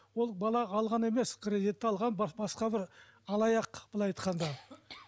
ол бала алған емес кредитті алған басқа бір алаяқ былай айтқанда